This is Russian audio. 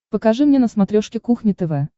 покажи мне на смотрешке кухня тв